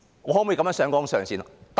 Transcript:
我可以這樣上綱上線嗎？